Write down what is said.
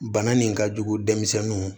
Bana nin ka jugu denmisɛnninw ma